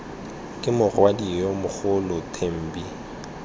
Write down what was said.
ke morwadio yo mogolo thembi